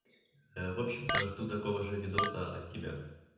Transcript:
в общем-то жду такого же видоса от тебя